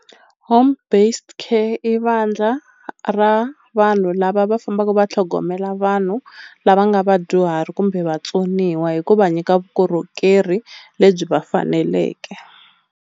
Home based care i vandla ra vanhu lava va fambaka va tlhogomela vanhu lava nga vadyuhari kumbe vatsoniwa hikuva nyika vukorhokeri lebyi va faneleke.